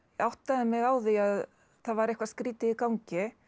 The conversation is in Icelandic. áttaði mig á því að það var eitthvað skrýtið í gangi